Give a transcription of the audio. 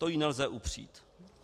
To jí nelze upřít.